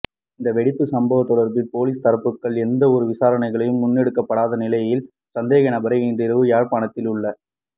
இந்த வெடிப்புச் சம்பவம் தொடர்பில் பொலிஸ் தரப்புகளால் எந்தவொரு விசாரணைகளும் முன்னெடுக்கப்படாத நிலையில் சந்தேக நபரை இன்றிரவு யாழ்ப்பாணத்தில் உள்ள